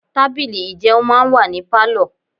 Tábìlì ìjẹun máa ń wà ní Pálọ̀.